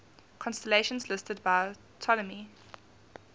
constellations listed by ptolemy